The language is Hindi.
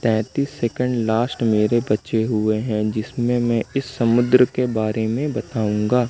तैतीस सेकंड लास्ट मेरे बच्चे हुए हैं जिसमें मैं इस समुद्र के बारे में बताऊंगा।